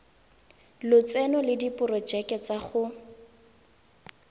lotseno le diporojeke tsa go